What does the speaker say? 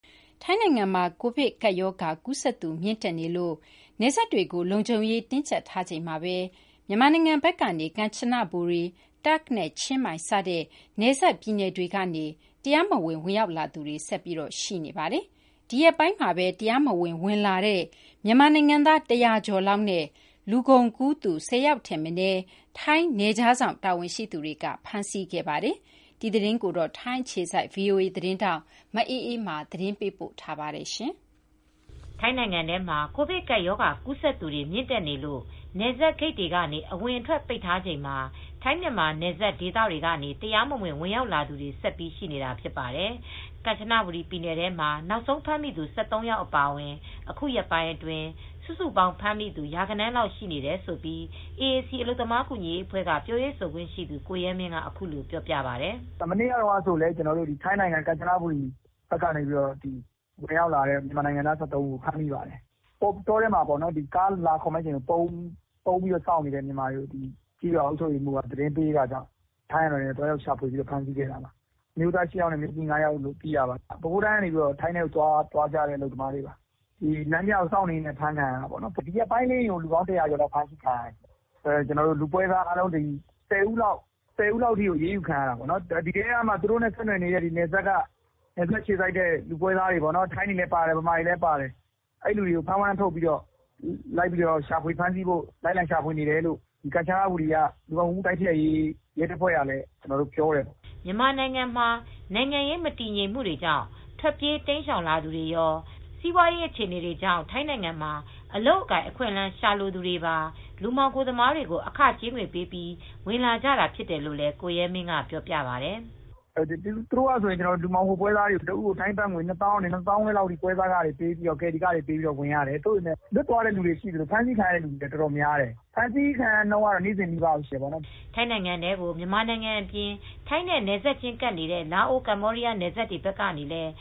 ထိုင်းနိုင်ငံမှာ ကိုဗစ်ကပ်ရောဂါကူးစက်သူမြင့်တက်နေလို့ နယ်စပ်တွေကိုလုံခြုံရေးတင်းကျပ်ထားချိန်မှာပဲ မြန်မာနိုင်ငံဘက်ကနေ ကန်ချနဘူရီ၊ တာ့ခ်နဲ့ ချင်းမိုင် စတဲ့ နယ်စပ်ပြည်နယ်တွေကနေ တရားမဝင် ဝင်ရောက်လာသူတွေ ဆက်ပြီးရှိနေပါတယ်။ ဒီရက်ပိုင်းမှာပဲ တရားမဝင် ဝင်လာသူ မြန်မာနိုင်ငံသား ၁၀၀ ကျော်လောက်နဲ့ လူကုန်ကူးသူ ၁၀ ယောက်ထက်မနည်း ထိုင်းနယ်ခြားစောင့်တာဝန်ရှိသူတွေ ဖမ်းဆီးခဲ့ပါတယ်။ ဒီသတင်းကို ဗွီအိုအေသတင်းထောက် မအေးအေးမာက ပြောပြပေးမှာပါ။ ထိုင်းနိုင်ငံထဲမှာ ကိုဗစ်ကပ်ရောဂါကူးစက်သူတွေ မြင့်တက်နေလို့ နယ်စပ်ဂိတ်တွေကနေ အဝင်အထွက်ပိတ်ထားချိန်မှာ ထိုင်း မြန်မာနယ်စပ်ဒေသတွေကနေ တရားမဝင် ဝင်ရောက်လာသူတွေ ဆက်ပြီးရှိနေတာဖြစ်ပါတယ်။ ကန်ချနဘူရီပြည်နယ်ထဲမှာ နောက်ဆုံးဖမ်းမိသူ ၁၃ ယောက်အပါအဝင် အခုရက်ပိုင်းအတွင်း စုစုပေါင်းဖမ်းမိသူ ရာဂဏန်းလောက်ရှိနေတယ်လို့ AAC အလုပ်သမားကူညီရေးအဖွဲ့က ပြောရေးဆိုခွင့်ရှိသူ ကိုရဲမင်းက အခုလိုပြောပါတယ် "မနေ့ကဆိုရင် ထိုင်းနိုင်ငံကန်ချနဘူရီမှာ မြန်မာနိုင်ငံသား ၁၃ဦးကိုဖမ်းမိပါတယ်။ တောထဲမှာကားတွေလာခေါ်မယ့်အချိန်ကိုပုန်းပြီးစောင့်နေချိန် ကျေးရွာအုပ်ချုပ်ရေးမူးက သတင်းပေးလို့ဖမ်းမိတာပါ အမျိုးသား ၈ ယောက်နဲ့အမျိုးသမီး ၅ယောက်လို့သိရပါတယ် ပဲခူးတိုင်းကနေ လာကြတဲ့ အလုပ်သမားတွေပါ လမ်းပြကိုစောင့်နေရင်းနဲ့အဖမ်းခံရတာပါ ဒီရက်ပိုင်းမှာပဲ လူပေါင်း ၁၀၀ကျော်လောက်ဖမ်းမိပါတယ် လူပွဲစားကတော့ ၁၀ဦးလောက် အရေးယူခံရတယ် အဲဒီထဲကနေ နယ်စပ်က သူတို့နဲ့ဆက်စပ်တဲ့လူပွဲစားတွေ ထိုင်းတွေကောမြန်မာတွေကောပါတယ်။ သူတို့ကိုလိုက်လံဖမ်းဆီးဖို့ဖမ်းဝရမ်းထုတ်ထာတယ်လို့ကန်ချနဘူရီ လူကုန်ကူးမူ့တိုက်ဖျက်ရေးရဲတပ်ဖွဲ့ကလည်းပြောထားပါတယ်။" မြန်မာနိုင်ငံမှာနိုင်ငံရေးမတည်ငြိမ်မူတွေကြောင့် ထွက်ပြေးတိမ်းရှောင်လာသူတွေရော စီးပွားအရေးအခြေအနေတွေကြောင့် ထိုင်းနိုင်ငံမှာ အလုပ်အကိုင်အခွင့်အလမ်းရှာလိုသူတွေပါ လူမှောင်ခိုသမားတွေကို အခကြေးငွေပေးပြီး ဝင်လာကြတာဖြစ်တယ်လို့လည်း ကိုရဲမင်းကပြောပြပါတယ်။ "သူတို့ကနေ လူမှောင်ခိုပွဲစားတွေကိုတဦးကိုထိုင်းဘတ်ငွေ ၂သောင်းကနေ ၂ သောင်းခွဲထိလူကယ်ရီခတွေပေးပြီးဝင်လာရတယ် တချို လည်း ဖမ်းဆီးခံရသူတွေရှိသလို လွတ်သွားတဲ့သူတွေလည်းရှိတယ်။" ထိုင်းနိုင်ငံထဲကို မြန်မာနိုင်ငံအပြင် ထိုင်းနဲ့နယ်စပ်ချင်းကပ်နေတဲ့ လာအို၊ ကမ္ဘောဒီးယားနိုင်ငံနယ်စပ်တွေဘက်ကလည်း